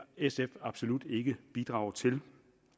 sf absolut ikke bidrage til det